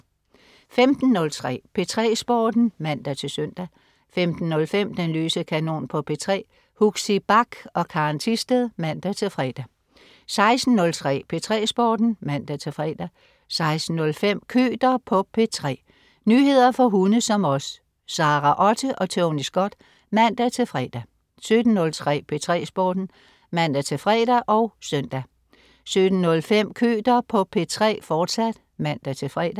15.03 P3 Sporten (man-søn) 15.05 Den løse kanon på P3. Huxi Bach og Karen Thisted (man-fre) 16.03 P3 Sporten (man-fre) 16.05 Køter på P3. Nyheder for hunde som os. Sara Otte og Tony Scott (man-fre) 17.03 P3 Sporten (man-fre og søn) 17.05 Køter på P3, fortsat (man-fre)